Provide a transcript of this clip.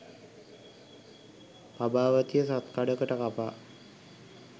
පබාවතිය සත්කඩකට කපා